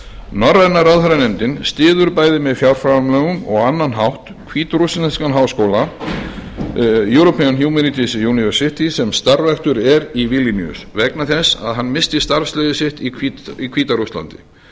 norræna ráðherranefndin styður bæði með fjárframlögum og á annan hátt hvítrússneskan háskóla european humanities university sem starfræktur er í vilníus vegna þess að hann missti starfsleyfi sitt í hvíta rússlandi